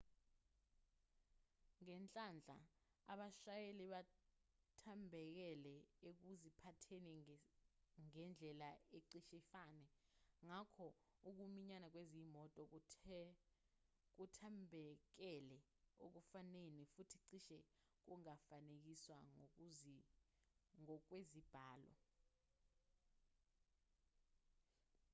ngenhlanhla abashayeli bathambekele ekuziphatheni ngendlela ecishe ifane ngakho ukuminyana kwezimoto kuthambekele ekufaneni futhi cishe kungafanekiswa ngokwezibalo